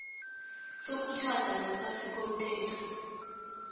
sokutjhada ngaphasi komthetho